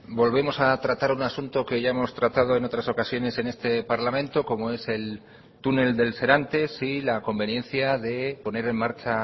volvemos a tratar un asunto que ya hemos tratado en otras ocasiones en este parlamento como es el túnel del serantes y la conveniencia de poner en marcha